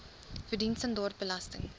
verdien standaard belasting